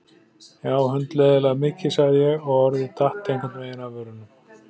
Já, hundleiðinlega mikið sagði ég og orðið datt einhvern veginn af vörunum.